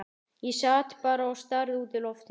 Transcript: Ég sat bara og starði út í loftið.